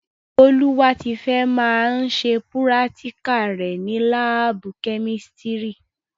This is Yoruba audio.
Bọ́lúwátifẹ́ máa ṣe púrátíkà rẹ̀ ni láábù kẹ́mísítiri